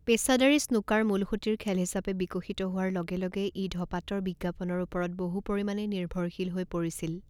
পেচাদাৰী স্নুকাৰ মূলসুঁতিৰ খেল হিচাপে বিকশিত হোৱাৰ লগে লগে ই ধঁপাতৰ বিজ্ঞাপনৰ ওপৰত বহু পৰিমাণে নিৰ্ভৰশীল হৈ পৰিছিল।